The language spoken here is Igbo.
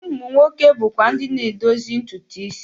Ụmụ nwoke bụkwa ndị na-edozi ntutu isi.